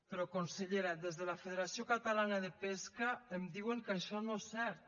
però consellera des de la federació catalana de pesca em diuen que això no és cert